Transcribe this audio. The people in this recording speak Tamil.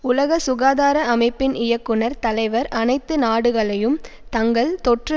உலக சுகாதார அமைப்பின் இயக்குனர் தலைவர் அனைத்து நாடுகளையும் தங்கள் தொற்று